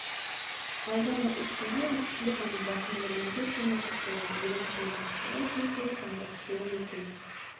алдағы үш күнде республиканың басым бөлігінде күн ашық болады еліміздің батысында жел тұрып жаңбыр түсуі мүмкін